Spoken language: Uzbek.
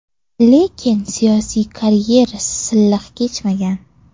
Lekin siyosiy karyerasi silliq kechmagan.